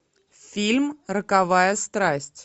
фильм роковая страсть